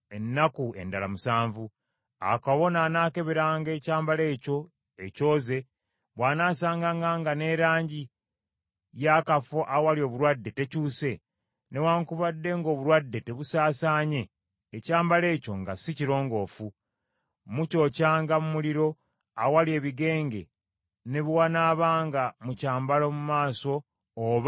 Awo kabona anaakeberanga ekyambalo ekyo ekyoze, bw’anaasanganga ng’erangi y’akafo awali obulwadde tekyuse, newaakubadde ng’obulwadde tebusaasaanye, ekyambalo ekyo nga si kirongoofu. Mukyokyanga mu muliro, awali ebigenge ne bwe wanaabanga mu kyambalo mu maaso oba mu mabega gaakyo.